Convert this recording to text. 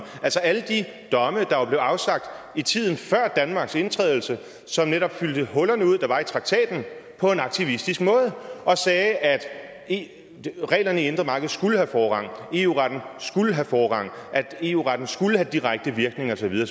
altså alle de domme der jo blev afsagt i tiden før danmarks indtræden som netop fyldte de huller ud der var i traktaten på en aktivistisk måde og sagde at at reglerne i indre marked skulle have forrang eu retten skulle have forrang eu retten skulle have direkte virkning og så videre